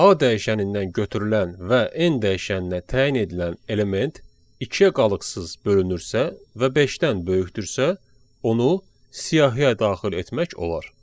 A dəyişənindən götürülən və n dəyişəninə təyin edilən element ikiyə qalıqsız bölünürsə və beşdən böyükdürsə, onu siyahıya daxil etmək olar.